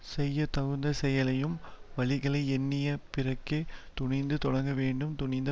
செய்ய தகுந்த செயலையும் வழிகளை எண்ணிய பிறகே துணிந்து தொடங்க வேண்டும் துணிந்த